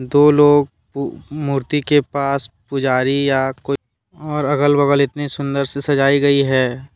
दो लोग पु मूर्ति के पास पुजारी या को और अगल बगल इतने सुंदर से सजाई गई है।